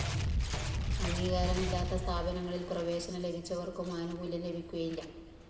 അംഗീകാരമില്ലാത്ത സ്ഥാപനങ്ങളില്‍ പ്രവേശനം ലഭിച്ചവര്‍ക്കും ആനുകൂല്യം ലഭിക്കുകയില്ല